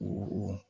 O